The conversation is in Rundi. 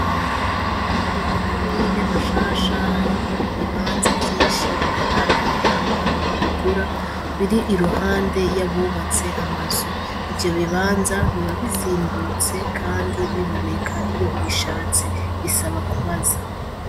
Mu makomine mashasha hariho ibibanza vyinshi bitararonka abantu babigura biri iruhande y'abubatse amazu ivyo bibanza biba bizimbutse, kandi biboneka iyo ubishatse bisaba kubaza.